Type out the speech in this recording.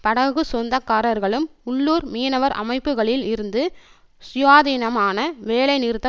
படகு சொந்தக்காரர்களும் உள்ளூர் மீனவர் அமைப்புக்களில் இருந்து சுயாதீனமான வேலைநிறுத்த